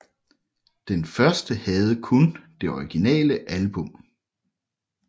Den første havde kun det originale album